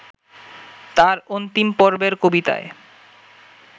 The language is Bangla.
তাঁর অন্তিমপর্বের কবিতায়